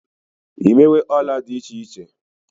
imewe Òla di iche iche